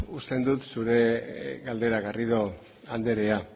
uste dut zure galdera garrido andrea